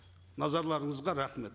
назарларыңызға рахмет